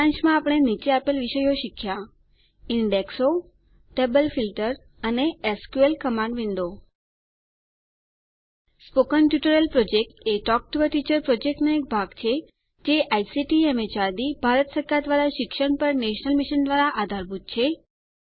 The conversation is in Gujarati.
સારાંશમાં આપણે નીચે આપેલ વિષયો શીખ્યાં ઈન્ડેક્સો ટેબલ ફીલ્ટર અને SQL command window spoken tutorial project talk to a teacher પ્રોજેક્ટનો એક ભાગ છે જે આઇસીટી એમએચઆરડી ભારત સરકાર દ્વારા શિક્ષણ પર નેશનલ મિશન દ્વારા આધારભૂત છે